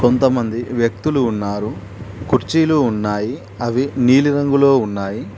కొంతమంది వ్యక్తులు ఉన్నారు కుర్చీలు ఉన్నాయి అవి నీలిరంగులో ఉన్నాయి.